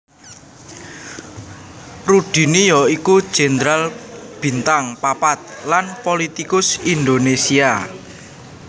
Rudini ya iku jenderal bintang papat lan pulitikus Indonésia